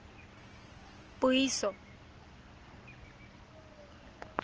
puiso